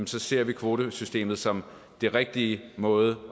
så ser vi kvotesystemet som den rigtige måde